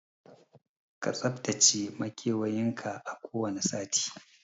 Ka tsaftace makewayin ka a kowane sati